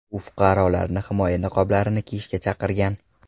U fuqarolarni himoya niqoblarini kiyishga chaqirgan.